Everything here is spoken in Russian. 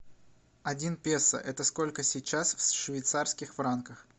один песо это сколько сейчас в швейцарских франках